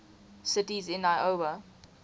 cities in iowa